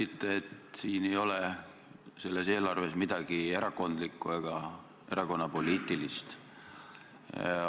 Te ütlesite, et selles eelarves ei ole midagi erakondlikku ega erakonnapoliitilist.